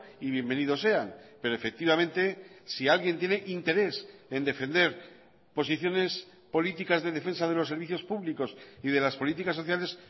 y bienvenido sean pero efectivamente si alguien tiene interés en defender posiciones políticas de defensa de los servicios públicos y de las políticas sociales